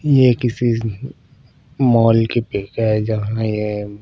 ये किसी मॉल की पिक है जहाँ ये--